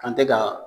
Kan tɛ ka